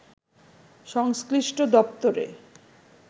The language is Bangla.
সংশ্লিষ্ট দপ্তরে